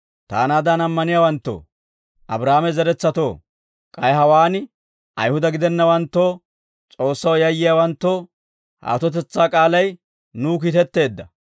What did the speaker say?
«Taanaadan ammaniyaawanttoo, Abraahaame zeretsatoo, k'ay hawaan Ayihuda gidennawanttoo S'oossaw yayyiyaawanttoo, ha atotetsaa k'aalay nuw kiitetteedda.